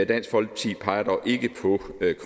dansk folkeparti peger dog ikke på